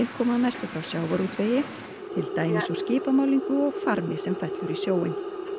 koma að mestu frá sjávarútvegi til dæmis úr skipamálningu og farmi sem fellur í sjóinn